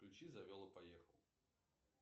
включи завел и поехал